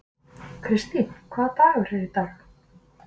Kirstín, hvaða dagur er í dag?